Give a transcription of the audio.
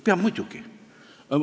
Peab muidugi.